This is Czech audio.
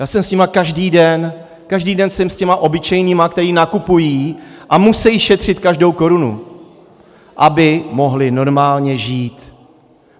Já jsem s nimi každý den, každý den jsem s těmi obyčejnými, kteří nakupují a musí šetřit každou korunu, aby mohli normálně žít.